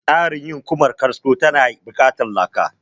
Tsarin yin Ƙumar kasko ya na buƙatan laka